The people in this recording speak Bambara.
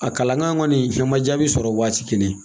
A kalankan kɔni fɛn ma jaabi sɔrɔ waati kelen